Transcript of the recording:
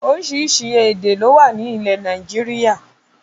Oríṣiríṣi èdè ló wà ní ilẹ̀ Nàìjíríà